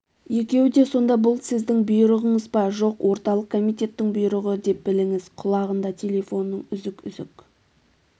екеуі де сонда бұл сіздің бұйрығыңыз ба жоқ орталық комитеттің бұйрығы деп біліңіз құлағында телефонның үзік-үзік